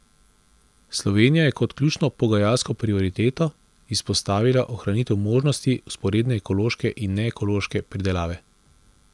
Slovenija je kot ključno pogajalsko prioriteto izpostavila ohranitev možnosti vzporedne ekološke in neekološke pridelave.